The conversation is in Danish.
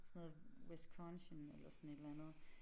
Sådan noget Wisconsin eller sådan et eller andet